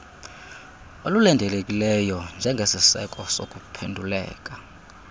olulindelekileyo njengesiseko sokuphenduleka